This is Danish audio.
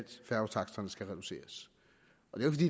færgetaksterne skal reduceres